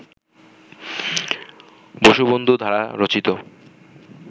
বসুবন্ধু দ্বারা রচিত